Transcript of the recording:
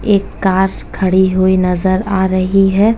एक कार खड़ी हुई नज़र आ रही हैं।